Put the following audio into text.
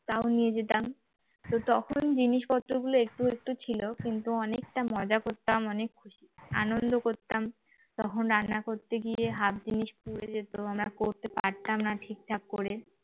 তাও নিয়ে যেতাম তো তখন জিনিসপত্রগুলো একটু একটু ছিল কিন্তু অনেকটা মজা করতাম অনেক আনন্দ করতাম তখন রান্না করতে গিয়ে হাত half জিনিস পুড়ে যেত আমরা করতে পারতাম না ঠিক ঠাক করে